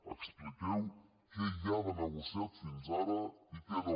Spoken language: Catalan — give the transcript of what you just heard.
expliqueu què hi ha de negociat fins ara i què no